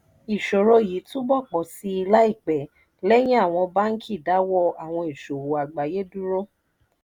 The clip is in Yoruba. ìṣòro yìí túbọ̀ pọ̀ sí i láìpẹ́ lẹ́yìn àwọn báńkì dáwọ́ àwọn ìsòwò àgbáyé dúró.